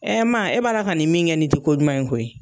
e b'a la ka nin min kɛ nin tɛ ko ɲuman ye koyi.